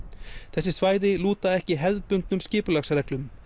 þessi svæði lúta ekki hefðbundnum skipulagsreglum